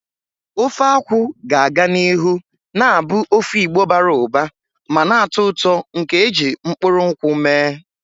Ofe akwu ga-aga n'ihu na-abụ ofe Igbo bara ụba ma na-atọ ụtọ nke e ji mkpụrụ nkwụ mee.